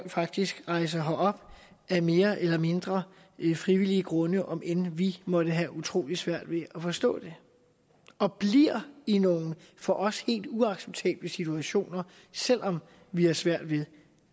faktisk rejser herop af mere eller mindre frivillige grunde om end vi måtte have utrolig svært ved at forstå det og bliver i nogle for os helt uacceptable situationer selv om vi har svært ved